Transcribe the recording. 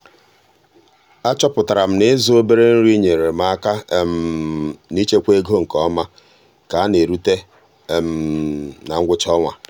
a chọpụtara m na ịzụ obere nri nyeere m aka n'ichekwa ego nke ọma ka a na-erute na ngwụcha ọnwa.